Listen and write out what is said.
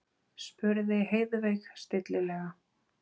spurði Heiðveig stillilega.